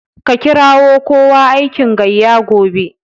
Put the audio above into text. Ka kirawo kowa aikin gayya gobe.